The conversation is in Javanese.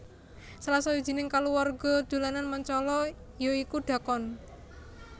Salah sawijining kaluwarga dolanan Mancala ya iku dhakon